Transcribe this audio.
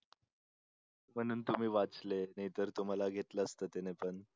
म्हणून तुम्ही वाचले नाहीतर तुम्हाला घेतलं असतं त्याने पण.